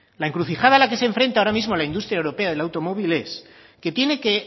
la encrucijada a la que se enfrenta ahora mismo la industria europea del automóvil es que tiene que